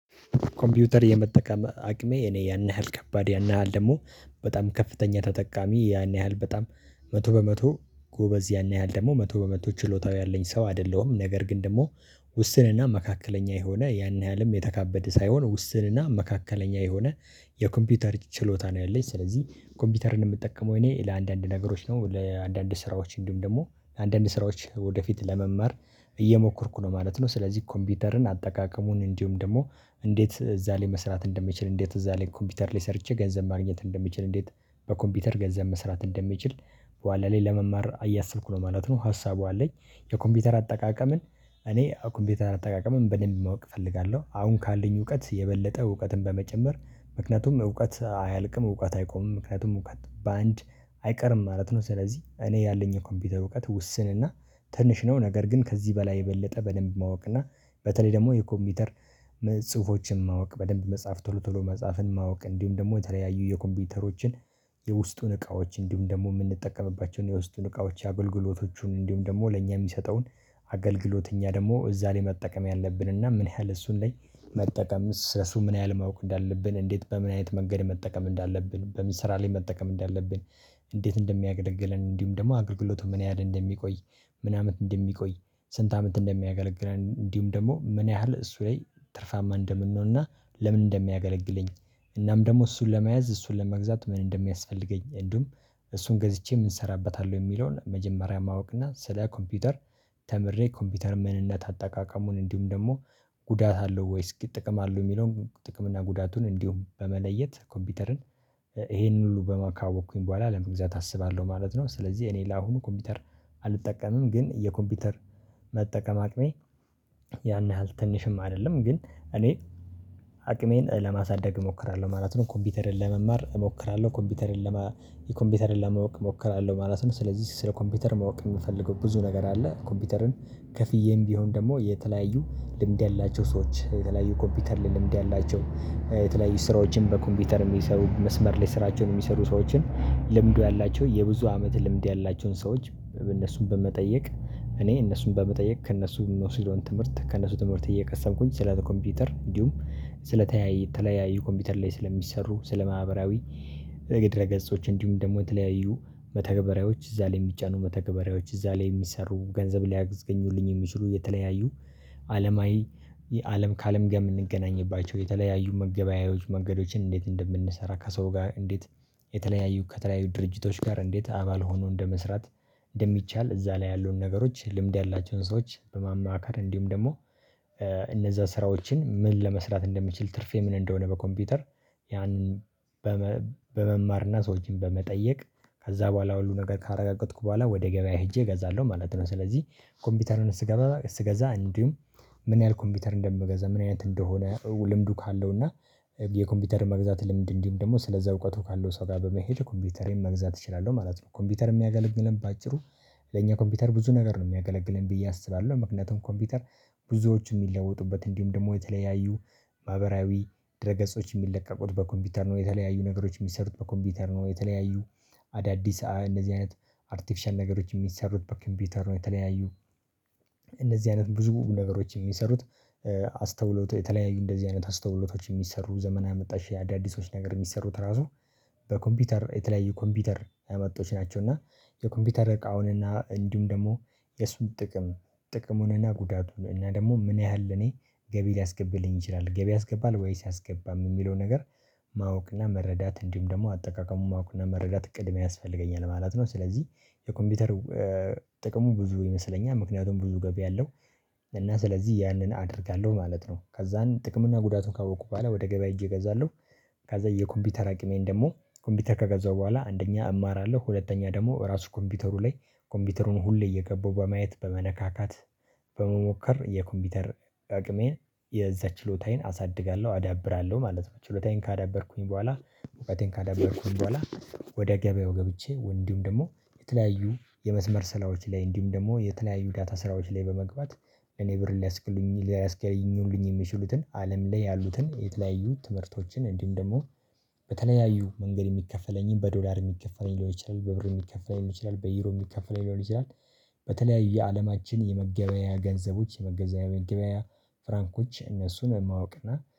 ኮምፒውተር የመጠቀም አቅሜ እኔ ያን ያህል ከባድ ያን ያህል ደግሞ በጣም ከፍተኛ ተጠቃሚ ያን ያህል በጣም መቶ በመቶ ጎበዝ ያን ያህል ደግሞ መቶ በመቶ ችሎታው ያለኝ ሰው አይደለሁም ነገር ግን ደግሞ ውስንና መካከለኛ የሆነ ያን ያህልም የተካበደ ሳይሆን ውስንና መካከለኛ የሆነ የኮምፒውተር ችሎታ ነው። ያለኝ ስለዚህ ኮምፒውተርን የምጠቀመው እኔ ለአንዳንድ ነገሮች ነው ለአንዳንድ ስራዎች እንዲሁም ደግሞ ለአንዳንድ ስራዎች ወደፊት ለመማር እየሞከርኩ ነው ማለት ነው። ስለዚህ ኮምፒውተርን አጠቃቀሙን እንዲሁም ደግሞ እንዴት እዛ ላይ መስራት እንደምችል እንዴት እዛ ላይ ኮምፒውተር ላይ ሰርቼ ገንዘብ ማግኘት እንደምችል እንዴት በኮምፒውተር ገንዘብ መስራት እንደምችል በኋላ ላይ ለመማር እያሰብኩ ነው ማለት ነው። ሀሳቡ አለኝ የኮምፒውተር አጠቃቀምን እኔ ኮምፒውተር አጠቃቀምን በደንብ ማወቅ እፈልጋለሁ አሁን ካለኝ እውቀት የበለጠ እውቀትን በመጨመር ምክንያቱም እውቀት አያልቅም እውቀት አይቆምም ምክንያቱም እውቀት በአንድ አይቀርም ማለት ነው። ስለዚህ እኔ ያለኝ የኮምፒውተር እውቀት ውስንና ትንሽ ነው። ነገር ግን ከዚህ በላይ የበለጠ በደንብ ማወቅ እና በተለይ ደግሞ የኮምፒውተር ጽሁፎችን ማወቅ በደንብ መጽሐፍ ቶሎ ቶሎ መጽሐፍን ማወቅ እንዲሁም ደግሞ የተለያዩ የኮምፒውተሮችን የውስጡን እቃዎች እንዲሁም ደግሞ የምንጠቀምባቸውን የውስጡን እቃዎች የአገልግሎቶቹን እንዲሁም ደግሞ ለእኛ የሚሰጠውን አገልግሎት እኛ ደግሞ የዛኔ መጠቀም ያለብንና ምን ያህል እሱን ላይ መጠቀም ስለሱ ምን ያህል ማወቅ እንዳለብን እንዴት በምን አይነት መንገድ መጠቀም እንዳለብን በምን ስራ ላይ መጠቀም እንዳለብን እንዴት እንደሚያገለግለን እንዲሁም ደግሞ አገልግሎቱ ምን ያህል እንደሚቆይ ምን አመት እንደሚቆይ ስንት አመት እንደሚያገለግለን እንዲሁም ደግሞ ምን ያህል እሱ ላይ ትርፋማ እንደምንሆንና ለምን እንደሚያገለግለኝ እናም ደግሞ እሱን ለመያዝ እሱን ለመግዛት ምን እንደሚያስፈልገኝ እንዲሁም እሱን ገዝቼ ምን ሰራበታለው የሚለውን መጀመሪያ ማወቅና ስለ ኮምፒውተር ተምሬ ኮምፒውተር ምንነት አጠቃቀሙን እንዲሁም ደግሞ ጉዳት አለው ወይስ ጥቅም አለው የሚለውን ጥቅም እና ጉዳቱን እንዲሁም በመለየት ኮምፒውተርን ይሄንን ሁሉ በማካወቅኩኝ በኋላ ለመግዛት አስባለሁ ማለት ነው። ስለዚህ እኔ ለአሁኑ ኮምፒውተር አልጠቀምም ግን የኮምፒውተር መጠቀም አቅሜ ያን ያህል ትንሽም አይደለም ግን እኔ አቅሜን ለማሳደግ እሞክራለሁ ማለት ነው። ኮምፒውተርን ለመማር እሞክራለሁ ኮምፒውተርን ለመ የኮምፒውተር ለማወቅ እሞክራለሁ ማለት ነው። ስለዚህ ስለ ኮምፒውተር ማወቅ የምፈልገው ብዙ ነገር አለ ኮምፒውተርን ከፍዬም ቢሆን ደግሞ የተለያዩ ልምድ ያላቸው ሰዎች የተለያዩ ኮምፒውተር ልምድ ያላቸው የተለያዩ ስራዎችን በኮምፒውተር የሚሰሩ መስመር ላይ ስራቸውን የሚሰሩ ሰዎችን ልምዱ ያላቸው የብዙ አመት ልምድ ያላቸውን ሰዎች እነሱን በመጠየቅ እኔ እነሱን በመጠየቅ ከእነሱ ምኖስደውን ትምህርት ከእነሱ ትምህርት እየቀሰምኩኝ ስለ ኮምፒውተር እንዲሁም ስለ ተለያየ የተለያየ ኮምፒውተር ላይ ስለሚሰሩ ስለ ስለማህበራዊ ድረገገጾች እንዲሁም ደግሞ የተለያዩ መተግበሪያዎች እዛ ላይ የሚጫኑ መተገበሪያዎች እዛ ላይ የሚሰሩ ገንዘብ ሊያስገኙልኝ የሚችሉ የተለያዩ አለማዊ አለም ከአለም ጋር የምንገናኝባቸው የተለያዩ መገበያያዎች መንገዶችን እንዴት እንደምንሰራ ከሰው ጋር እንዴት የተለያዩ ከተለያዩ ድርጅቶች ጋር እንዴት አባል ሆኖ እንደመስራት እንደሚቻል እዛ ላይ ያሉን ነገሮች ልምድ ያላቸውን ሰዎች በማማከር እንዲሁም ደግሞ እነዛ ስራዎችን ምን ለመስራት እንደምችል ትርፍ ምን እንደሆነ በኮምፒውተር ያንን በመማርና ሰዎችን በመጠየቅ ከዛ በኋላ ሁሉ ነገር ካረጋገጥኩ በኋላ ወደ ገበያ ሄጄ እገዛለሁ ማለት ነው። ስለዚህ ኮምፒውተርን ስገዛ እስገዛ እንዲሁም ምን ያህል ኮምፒውተር እንደምገዛ ምን አይነት እንደሆነ ልምዱ ካለውና የኮምፒውተር መግዛት ልምድ እንዲሁም ደግሞ ስለዛ እውቀቱ ካለው ሰው ጋር በመሄድ ኮምፒውተሬን መግዛት እችላለሁ ማለት ነው። ኮምፒውተር የሚያገለግለን በአጭሩ ለኛ ኮምፒውተር ብዙ ነገር ነው የሚያገለግለን ብዬ አስባለሁ ምክንያቱም ኮምፒውተር ብዙዎቹ የሚለወጡበት እንዲሁም ደግሞ የተለያዩ ማህበራዊ ድረ ገጾች የሚለቀቁት በኮምፒውተር ነው የተለያዩ ነገሮች የሚሰሩት በኮምፒውተር ነው የተለያዩ አዳዲስ እነዚህ አይነት አርቲፊሻል ነገሮች የሚሰሩት በኮምፒውተር ነው የተለያዩ እንደዚህ አይነት ብዙ ነገሮች የሚሰሩት አስተውሎት የተለያዩ እንደዚህ አይነት አስተውሎቶች የሚሰሩ ዘመናዊ የመጣሽ አዳዲሶች ነገር የሚሰሩት ራሱ በኮምፒውተር የተለያዩ ኮምፒውተር ያመጡት ናቸው። እና የኮምፒውተር እቃውንና እንዲሁም ደግሞ የሱን ጥቅም ጥቅሙንና ጉዳቱን እኛ ደግሞ ምን ያህል እኔ ገቢ ሊያስገባልኝ ይችላል ገቢ ያስገባል ወይስ አያስገባም የሚለው ነገር ማወቅና መረዳት እንዲሁም ደግሞ አጠቃቀሙ ማወቅና መረዳት ቅድሚያ ያስፈልገኛል ማለት ነው። ስለዚህ የኮምፒውተር ጥቅሙ ብዙ ይመስለኛል ምክንያቱም ብዙ ገቢ ያለው እና ስለዚህ ያንን አደርጋለሁ ማለት ነው ከዛን ጥቅም እና ጉዳቱን ካወኩ በኋላ ወደ ገበያ ሄጄ እገዛለሁ። ከዛ የኮምፒውተር አቅሜን ደግሞ ኮምፒውተር ከገዛሁ በኋላ አንደኛ እማራለሁ ሁለተኛ ደግሞ ራሱ ኮምፒውተሩ ላይ ኮምፒውተሩን ሁሌ እየገባው በማየት በመነካካት በመሞከር የኮምፒውተር አቅሜን የዛ ችሎታዬን አሳድጋለሁ አዳብራለሁ ማለት ነው። ችሎታዬን ካዳበርኩኝ በኋላ እውቀቴን ካዳበርኩኝ በኋላ ወደ ገበያው ገብቼ እንዲሁም ደግሞ የተለያዩ የመስመር ስራዎች ላይ እንዲሁም ደግሞ የተለያዩ ዳታ ስራዎች ላይ በመግባት እኔ ብር ሊያስገኙ ሊያስከልኙልኝ የሚችሉትን አለም ላይ ያሉትን የተለያዩ ትምህርቶችን እንዲሁም ደግሞ በተለያዩ መንገድ የሚከፈለኝን በዶላር የሚከፈለኝ ሊሆን ይችላል በብር የሚከፈለኝ ሊሆን ይችላል በዩሮ የሚከፈለኝ ሊሆን ይሆናል። በተለያዩ የአለማችን የመገበያያ ገንዘቦች የመገበያያ ፍራንኮች እነሱን ማወቅና